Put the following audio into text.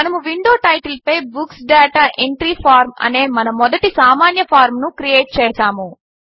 మనము విండో టైటిల్పై books data entry form అనే మన మొదటి సామాన్య ఫార్మ్ ను క్రియేట్ చేసాము